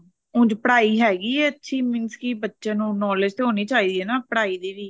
ਉੰਝ ਪੜ੍ਹਾਈ ਹੈਗੀ ਐ ਅੱਛੀ means ਕੀ ਬੱਚੇ ਨੂੰ knowledge ਤਾਂ ਹੋਣੀ ਚਾਹੀਦੀ ਐ ਨਾ ਪੜ੍ਹਾਈ ਦੀ ਵੀ